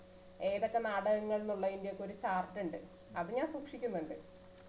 ഏതൊക്കെ നാടകങ്ങൾന്നുള്ളതിന്റെ ഒക്കെ ഒരു chart ഇണ്ട് അതുഞാൻ സൂക്ഷിക്കുന്നുണ്ട്